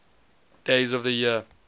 days of the year